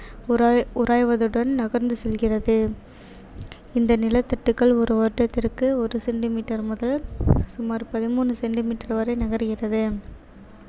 உராய்~ உராய்வதுடன் நகர்ந்து செல்கிறது இந்த நிலத்தட்டுக்கள் ஒரு வருடத்திற்கு ஒரு centimeter முதல் சுமார் பதிமூணு centimeter வரை நகர்கிறது